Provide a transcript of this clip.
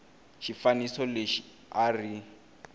xifaniso lexi a a ri